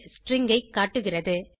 string ஐ காட்டுகிறது